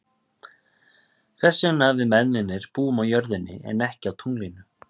Hvers vegna við mennirnir búum á jörðinni en ekki á tunglinu.